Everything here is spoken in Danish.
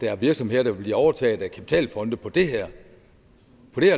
er virksomheder der vil blive overtaget af kapitalfonde oven på det her